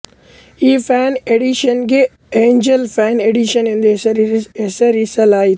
ಈ fan edition ಗೆ angel fan edition ಎಂದು ಹೆಸರಿಸಲಾಯಿತು